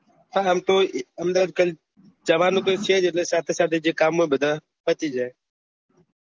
હા આમ તો અહેમદાબાદ જવાનું છે સાથે સાથે જે કામ હોય તે પતી જશે